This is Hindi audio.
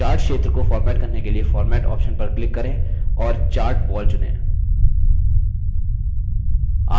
chart क्षेत्र को format करने के लिए format option पर click करें और chart wall चुनें